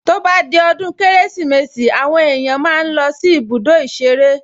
To bá di ọdún Kérésìmesì àwọn èèyàn máa ń lọ sí ibùdó ìṣeré